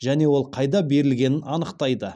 және ол қайда берілгенін анықтайды